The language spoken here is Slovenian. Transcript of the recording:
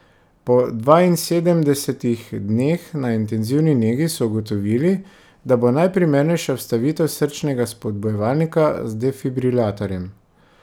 Po dvainsedemdesetih dneh na intenzivni negi so ugotovili, da bo najprimernejša vstavitev srčnega spodbujevalnika z defibrilatorjem.